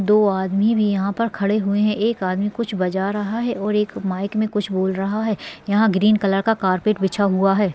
दो आदमी भी यहाँ पर खड़े हुए हैं एक आदमी कुछ बजा रहा है और एक माइक में कुछ बोल रहा है यहाँ ग्रीन कलर का कारपेट बिछा हुआ है।